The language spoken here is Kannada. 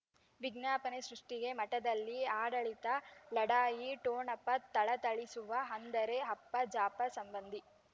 ವಿಜ್ಞಾಪನೆ ಸೃಷ್ಟಿಗೆ ಮಠದಲ್ಲಿ ಆಡಳಿತ ಲಢಾಯಿ ಠೊಣಪ ಥಳಥಳಿಸುವ ಅಂದರೆ ಅಪ್ಪ ಜಾಫರ್ ಸಂಬಂಧಿ